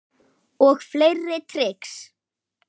Og fleiri trix.